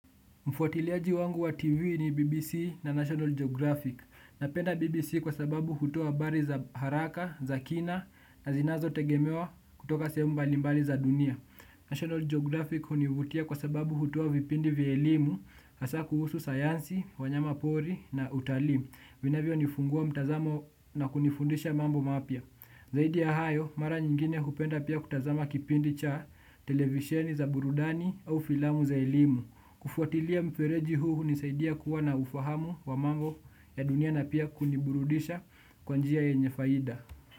Mfuatiliaji wangu wa TV ni BBC na National Geographic. Napenda BBC kwa sababu hutoa habari za haraka, za kina, na zinazotegemewa kutoka sehemu mbalimbali za dunia. National Geographic hunivutia kwa sababu hutoa vipindi vya elimu, hasa kuhusu sayansi, wanyamapori na utalii. Vinavyonifungua mtazamo na kunifundisha mambo mapya. Zaidi ya hayo, mara nyingine kupenda pia kutazama kipindi cha televisieni za burudani au filamu za elimu. Kufuatilia mfereji huu huisaidia kuwa na ufahamu wa mambo ya dunia na pia kuniburudisha kwa njia yenye faida.